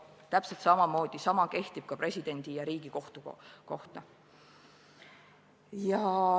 Täpselt sama kehtib ka presidendi ja Riigikohtu kohta.